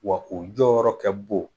Wa o jɔyɔrɔ kɛ bon